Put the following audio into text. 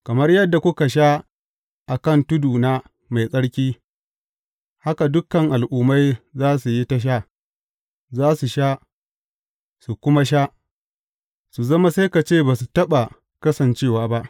Kamar yadda kuka sha a kan tuduna mai tsarki, haka dukan al’ummai za su yi ta sha, za su sha, su kuma sha su zama sai ka ce ba su taɓa kasancewa ba.